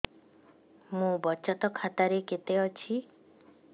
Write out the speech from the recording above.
ମୋ ବଚତ ଖାତା ରେ କେତେ ଅଛି